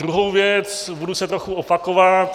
Druhá věc - budu se trochu opakovat.